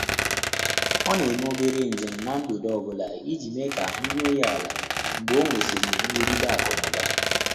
Ọ́ nà-émé óbèré njém n’á mgbèdé ọ́ bụ́lá ìjí mèé kà áhụ́ rúó yá álá mgbè ọ́ nwèsị́rị̀ nrụ́gídé ákụ̀ nà ụ́bà.